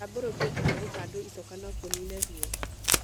Kũtambũrũkio kana gũkandwa icoka no kũnine ruo.